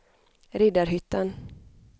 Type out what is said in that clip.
Riddarhyttan